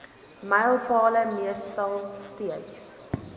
mylpale meestal steeds